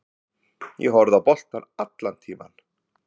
Ég horfi á boltann allan tímann.